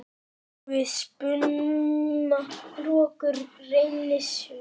Við spuna rokkur reynist vel.